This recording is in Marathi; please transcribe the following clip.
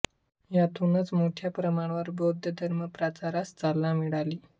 यातूनच मोठ्या प्रमाणावर बौद्ध धर्म प्रचारास चालना मिळाली